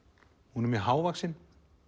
hún er mjög hávaxin